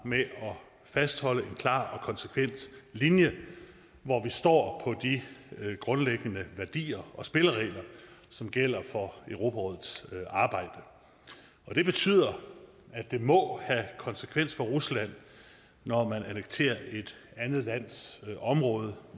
med at fastholde en klar og konsekvent linje hvor vi står på de grundlæggende værdier og spilleregler som gælder for europarådets arbejde det betyder at det må have konsekvens for rusland når man annekterer et andet lands område